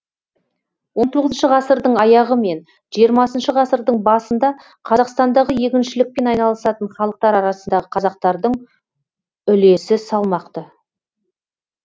он тоғызыншы ғасырдың аяғы мен жиырмасыншы ғасырдың басында қазақстандағы егіншілікпен айналысатын халықтар арасындағы қазақтардың үлесі салмақты